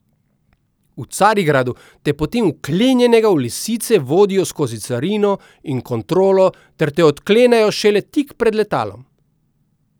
V Carigradu te potem vklenjenega v lisice vodijo skozi carino in kontrolo ter te odklenejo šele tik pred letalom.